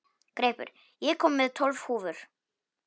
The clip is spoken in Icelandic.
Greipur, ég kom með tólf húfur!